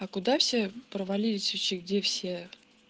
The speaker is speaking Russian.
а куда все провалились вообще где все